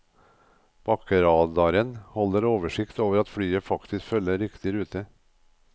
Bakkeradaren holder oversikt over at flyet faktisk følger riktig rute.